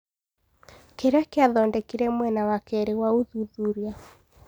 Kĩrĩa kĩrathondekire mwena wa keerĩ wa ũthuthuria.